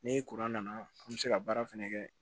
Ni nana an bɛ se ka baara fɛnɛ kɛ